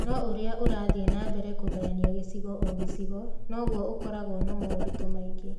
No o ũrĩa ũrathiĩ na mbere kũgayania gĩcigo o gĩcigo, noguo ũkoragwo na moritũ maingĩ.